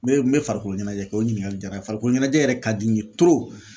Ne me farikolo ɲɛnajɛ kɛ, o ɲiningali diyara, farikolo ɲɛnajɛ yɛrɛ ka di n ye